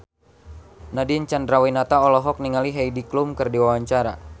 Nadine Chandrawinata olohok ningali Heidi Klum keur diwawancara